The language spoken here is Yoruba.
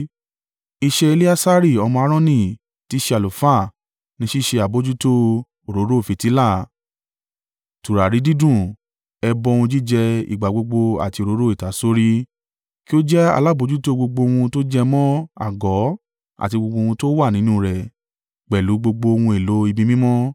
“Iṣẹ́ Eleasari ọmọ Aaroni tí í ṣe àlùfáà ni ṣíṣe àbojútó òróró fìtílà, tùràrí dídùn, ẹbọ ohun jíjẹ ìgbà gbogbo àti òróró ìtasórí. Kí ó jẹ́ alábojútó gbogbo ohun tó jẹ mọ́ àgọ́ àti gbogbo ohun tó wà nínú rẹ̀, pẹ̀lú gbogbo ohun èlò ibi mímọ́.”